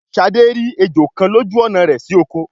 Shade rí ejó kán lójú ọnà rẹ si okò